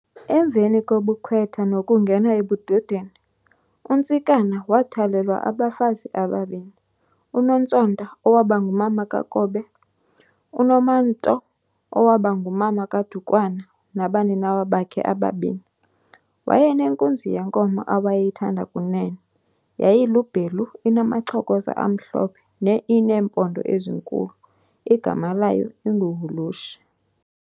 Emveni kobukhwetha nokungena ebudodeni, uNtsikana wathwalelwa abafazi ababini. uNontsonta owabangumama kaKobe, uNomamto owabangumama kaDukwana nabaninawa bakhe ababini. Wayenenkunzi yenkomo awayeyithanda Kunene, yayilubhelu inamacokoza amhlobhe ineempondo ezinkulu igama layo inguHulushe.